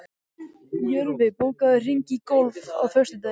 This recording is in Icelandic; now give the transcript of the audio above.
Jörfi, bókaðu hring í golf á föstudaginn.